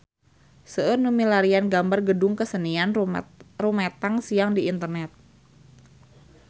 Seueur nu milarian gambar Gedung Kesenian Rumetang Siang di internet